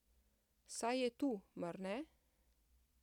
Saj je tu, mar ne?